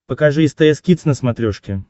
покажи стс кидс на смотрешке